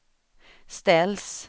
ställs